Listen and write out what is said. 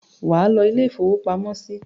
Wà á lọ ilé-ìfowópamọ́sí!